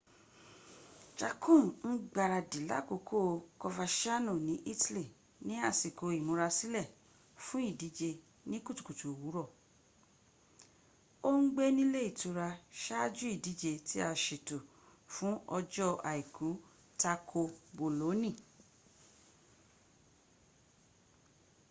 jarque ń gbárádì lákòókò coverciano ní italy ní ásíkó ìmúrasílè fún ìdíje ní kùtùkùtù òwúrọ. o ń gbé ni´ ilé ìtura sáájú ìdíje tí a sètò fún ọjọ́ aìkú tako boloni